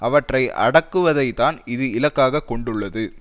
அவற்றை அடக்குவதைத்தான் இது இலக்காக கொண்டுள்ளது